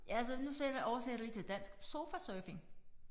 Ja altså nu sætter oversætter lige til dansk sofa surfing